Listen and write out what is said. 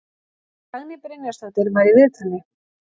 Dagný Brynjarsdóttir var í viðtali.